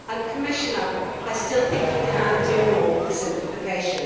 Commissioner, I still think you can do more for simplification.